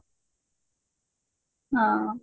ହଁ